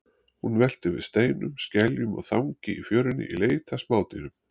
Hún veltir við steinum, skeljum og þangi í fjörunni í leit að smádýrum.